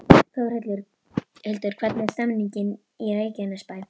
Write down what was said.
Þórhildur, hvernig er stemningin í Reykjanesbæ?